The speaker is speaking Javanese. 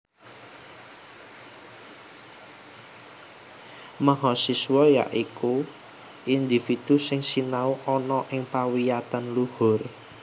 Mahasiswa ya iku individu sing sinau ana ing pawiyatan luhur